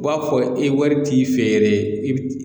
U b'a fɔ i wari t'i fɛ yɛrɛ i bɛ